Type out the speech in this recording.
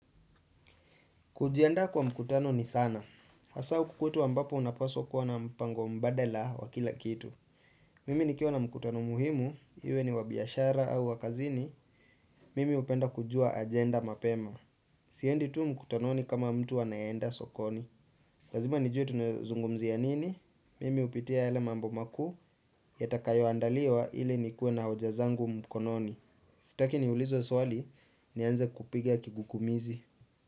Kujienda kwa mkutano ni sana. Hasaa huku kwetu ambapo unapaswa kuwa na mpango mbadala wa wakila kitu. Mimi nikiwa na mkutano muhimu, iwe ni wabiashara au wakazini, mimi hupenda kujua agenda mapema. Siendi tu mkutano ni kama mtu anayenda sokoni. Lazima nijue tunazungumziya nini? Mimi hupitia yale mambo makuu, yatakayo andaliwa ili nikuwe na hoja zangu mkononi. Sitaki ni ulizwe swali, nianze kupiga kigukumizi.